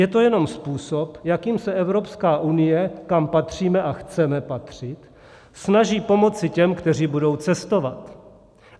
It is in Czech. Je to jenom způsob, jakým se Evropská unie, kam patříme a chceme patřit, snaží pomoci těm, kteří budou cestovat.